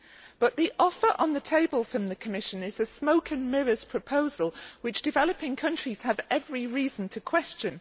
But the offer on the table from the Commission is a smoke and mirrors proposal which developing counties have every reason to question.